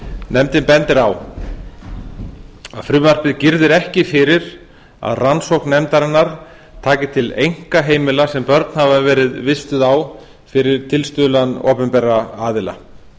nefndin bendir á að frumvarpið girðir ekki fyrir að rannsókn nefndarinnar taki til einkaheimila sem börn hafa verið vistuð á fyrir tilstuðlan opinberra aðila